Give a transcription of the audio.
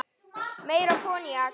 Meira koníak?